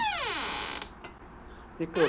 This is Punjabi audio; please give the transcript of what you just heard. ਇੱਕ